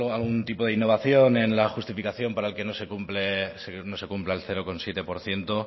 algún tipo de innovación en la justificación para que no se cumpla el cero coma siete por ciento